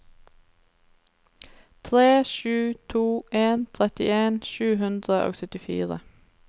tre sju to en trettien sju hundre og syttifire